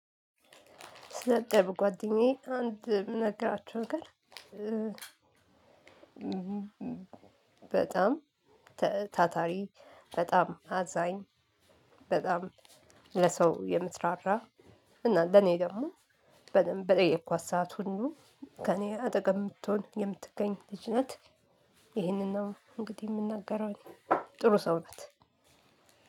ስለ ጥሩ ጓደኛዬ አንድ የምነግራችሁ ነገር በጣም ታታሪ በጣም አዛኝ በጣም ለሰው የምትራራ እና ለኔ ደግሞ በጣም በጠየኳት ሰዓት ሁሉ ከኔ አጠገብ የምትሆን የምትገኝ ልጅ ናት። ይህንን ነው እንግዲህ የምናገረው እኔ ጥሩ ሰው ናት።